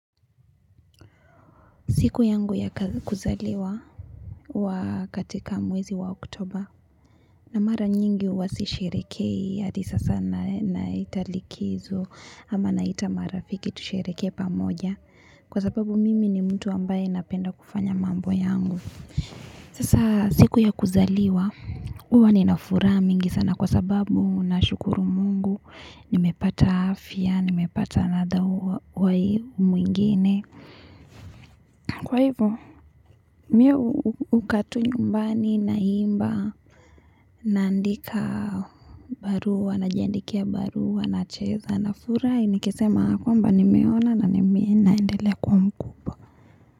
Siku yangu ya kuzaliwa wa katika mwezi wa oktoba na mara nyingi huwasishiriki. Hadi sasa naenda likizo. Ama naita marafiki tusherehekepamoja. Kwa sababu mimi ni mtu ambaye napenda kufanya mambo yangu. Sasa siku ya kuzaliwa. Huwa ninafuraha mingi sana kwa sababu na shukuru mungu. Nimepata afya. Nimepata another way mwingine. Kwa hivyo mimi hukaa tu nyumbani naimba naandika barua najiandikia barua nacheza nafurahi nikisema kwamba nimeona naminaendelea kuwa mkubwa.